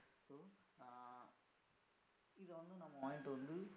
நம்ம வாங்கிட்டு வந்து